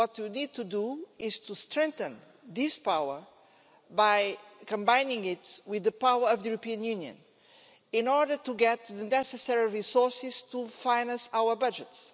What we need to do is to strengthen this power by combining it with the power of the European Union in order to get the necessary resources to finance our budgets.